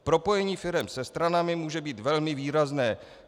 Propojení firem se stranami může být velmi výrazné.